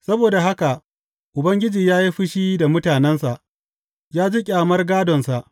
Saboda haka Ubangiji ya yi fushi da mutanensa ya ji ƙyamar gādonsa.